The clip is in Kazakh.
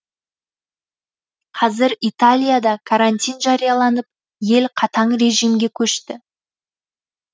қазір италияда карантин жарияланып ел қатаң режимге көшті